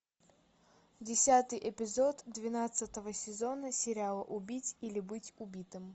десятый эпизод двенадцатого сезона сериал убить или быть убитым